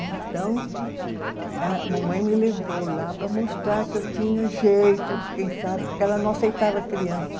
Então, a mamãe me levou lá para mostrar que eu tinha jeito, quem sabe, porque ela não aceitava criança.